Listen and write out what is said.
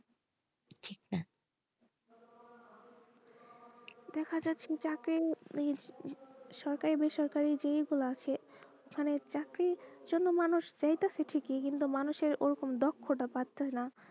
দেখা যাই সেটা কেই সরকারি বেসরকারি যেই গুলা আছে ফলে চাকরি সমস্ত মানুষ চাইতাছে ঠিকই কিন্তু মানুষের ওরকম দক্ষতা পাইতো না,